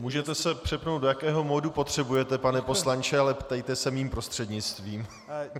Můžete se přepnout, do jakého modu potřebujete, pane poslanče, ale ptejte se mým prostřednictvím.